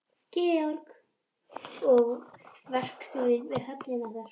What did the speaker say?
Georg er verkstjóri við höfnina þar.